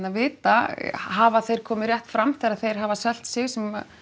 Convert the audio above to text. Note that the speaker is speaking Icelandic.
að vita hafa þeir komið rétt fram þegar þeir hafa selt sig sem